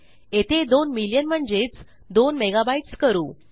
येथे 2 मिलियन म्हणजेच 2 मेगाबाईट्स करू